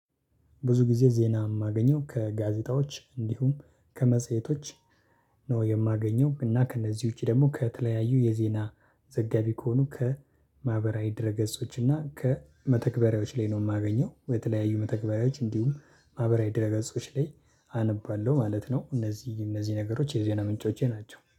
ብዙ ጊዜ ዜና እማገኘው ከጋዜጣዎች እንዲሁም ከመጽሄቶች ነው የማገኘው እና ከእነዚህ ውጪ ደግሞ ከተለያዩ የዜና ዘጋቢ ከሆኑ ከማህበራዊ ድረ ገጾች እና ከመተግበሪያዎች ላይ ነው የማገኘው። የተለያዩ መተግበሪያዎች እንዲሁም ማህበራዊ ድረ ገጾች ላይ አነባለሁ ማለት ነው። እነዚህ እነዚህ ነገሮች የዜና ምንጮቼ ናቸው